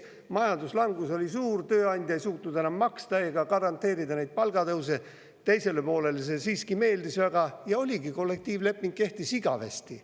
Kui majanduslangus oli suur, tööandja ei suutnud enam maksta ega garanteerida neid palgatõuse, aga teisele poolele see siiski meeldis väga – ja oligi nii: kollektiivleping kehtis igavesti.